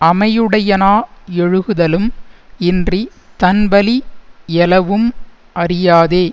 அமையுடையனாயொழுகுதலும் இன்றித் தன்வலி யளவும் அறியாதே